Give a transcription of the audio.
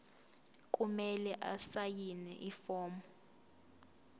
kumele asayine ifomu